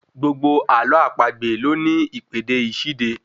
Gbogbo àlọ́ àpagbè ló ní ìpèdè ìṣíde